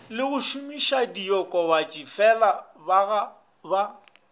le go šomišadiokobatši felabaga ba